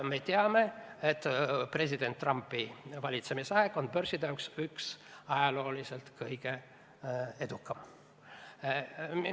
" Me teame, et president Trumpi valitsemisaeg on börside jaoks olnud üks ajalooliselt kõige edukamaid.